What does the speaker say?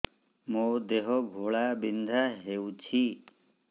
ମୋ ଦେହ ଘୋଳାବିନ୍ଧା ହେଉଛି